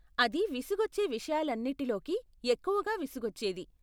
అది విసుగొచ్చే విషయాలన్నిటిలోకి ఎక్కువగా విసుగొచ్చేది.